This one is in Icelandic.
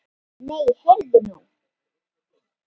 Nei, heyrðu nú!